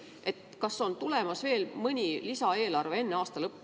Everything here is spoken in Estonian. Kas enne aasta lõppu on tulemas veel mõni lisaeelarve?